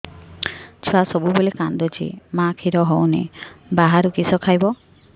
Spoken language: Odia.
ଛୁଆ ସବୁବେଳେ କାନ୍ଦୁଚି ମା ଖିର ହଉନି ବାହାରୁ କିଷ ଖାଇବ